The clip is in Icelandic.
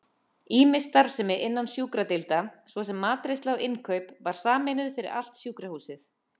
Ýmis starfsemi innan sjúkradeilda, svo sem matreiðsla og innkaup, var sameinuð fyrir allt sjúkrahúsið.